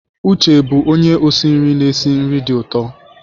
Uche bụ onye osi nri na-esi nri dị ụtọ.